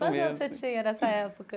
Quanto anos você tinha nessa época?